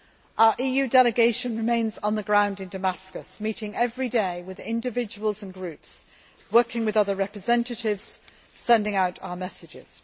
Our EU delegation remains on the ground in Damascus, meeting every day with individuals and groups, working with other representatives and sending out our messages.